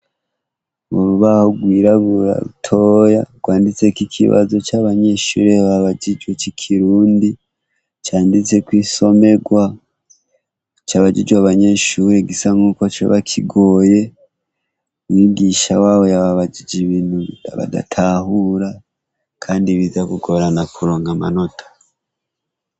Burbaho rwiraburatoya rwanditseko ikibazo c'abanyeshuri babajijwe c'i kirundi canditseko isomerwa coabajijwe abanyeshuri gisa nk'uko co bakigoye mwiwisha wawo yababajije ibintu badatahura, kandi biza gugorana kurunga amanota.